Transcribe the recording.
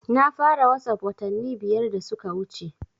Na fara wasap watanni biyar da suka wuce